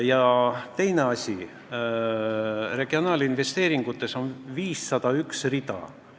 Ja teine asi: regionaalinvesteeringute kavas on 501 rida.